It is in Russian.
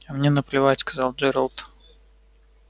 а мне наплевать сказал джералд